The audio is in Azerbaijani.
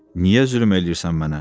Niyə zülm eləyirsən mənə?